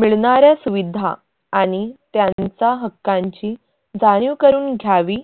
मिळणाऱ्या सुविधा आनि त्यांचा हक्कांची जाणीव करून द्यावी